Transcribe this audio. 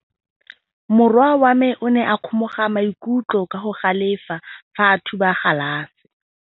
Morwa wa me o ne a kgomoga maikutlo ka go galefa fa a thuba galase.